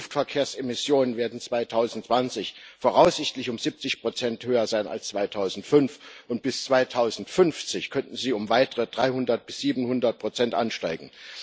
Die Luftverkehrsemissionen werden 2020 voraussichtlich um 70 höher sein als 2005, und bis 2050 könnten sie um weitere 300 bis 700 ansteigen.